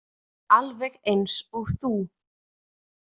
Alveg eins og þú.